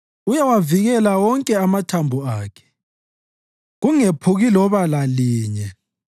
Uyawavikela wonke amathambo akhe, kungephuki loba lalinye.